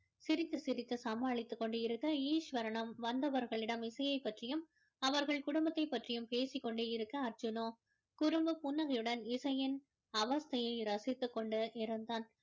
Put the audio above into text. சிரித்து சிரித்து சமாலித்துக் கொண்டிருக்க ஈஸ்வரனும் வந்தவர்களிடம் இசையை பற்றியும் அவர்கள் குடும்பத்தை பற்றியும் பேசி கொண்டு இருக்க அர்ஜுனோ குறும்பு புன்னகையுடன் இசையின் அவஸ்தையை ரசித்து கொண்டு இருந்தான்